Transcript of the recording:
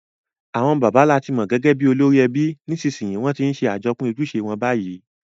Àwon bàbá làti mo gẹ́gẹ́ bi olórí ebi, nìsnsìnyí won ti n se àjopín ojúse won bayi